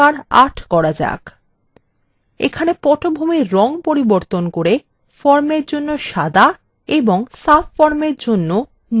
এখানে পটভূমির রঙ পরিবর্তন করে formএর জন্য সাদা এবং subformএর জন্য নীল ৮ করুন